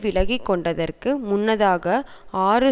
விலகிக்கொண்டதற்கு முன்னதாக ஆறு